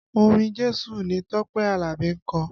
Orin Jésù ni Tọ́pẹ́ Alabi ń kọ